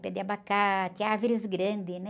Pé de abacate, árvores grandes, né?